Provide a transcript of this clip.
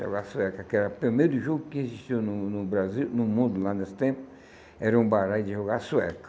Jogar sueca, que era o primeiro jogo que existiu no no Brasil, no mundo lá nesse tempo, era um baralho de jogar sueca.